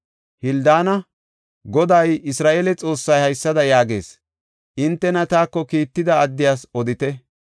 Hildaana, “Goday Isra7eele Xoossay haysada yaagees; hintena taako kiitida addiyas odite.